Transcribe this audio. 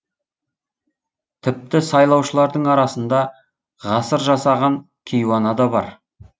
тіпті сайлаушылардың арасында ғасыр жасаған кейуана да бар